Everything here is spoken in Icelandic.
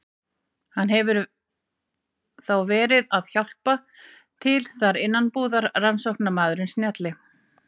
Hann hefur þá verið að hjálpa til þar innanbúðar, rannsóknarmaðurinn snjalli.